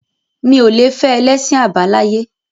Mi ò le fẹ́ ẹlẹ́sìn àbáláyé.